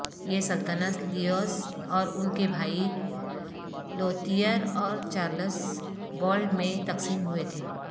یہ سلطنت لیوس اور ان کے بھائی لوتیئر اور چارلس بالڈ میں تقسیم ہوئے تھے